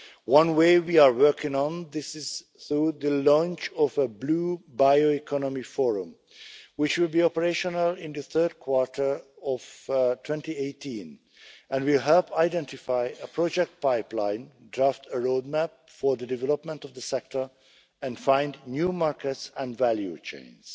One way we are working on this is through the launch of a Blue Bioeconomy Forum, which should be operational in the third quarter of 2018, and which will help identify a project pipeline, draft a roadmap for the development of the sector and find new markets and value chains.